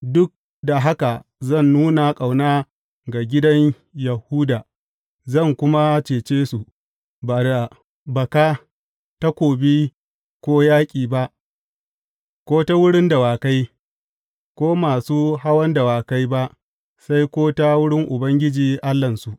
Duk da haka zan nuna ƙauna ga gidan Yahuda; zan kuma cece su, ba da baka, takobi ko yaƙi ba, ko ta wurin dawakai, ko masu hawan dawakai ba, sai ko ta wurin Ubangiji Allahnsu.